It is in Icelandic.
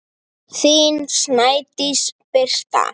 Þín Snædís Birta.